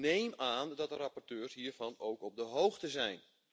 Dus ik neem aan dat de rapporteurs hiervan ook op de hoogte zijn.